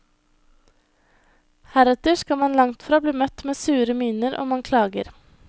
Heretter skal man langtfra bli møtt med sure miner om man klager.